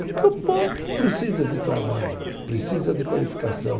Porque o povo precisa de trabalho, precisa de qualificação.